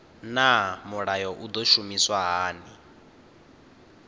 naa mulayo u do shumiswa hani